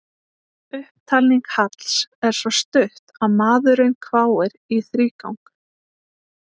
Upptalning Halls er svo stutt að maðurinn hváir í þrígang.